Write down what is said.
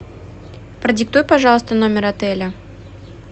продиктуй пожалуйста номер отеля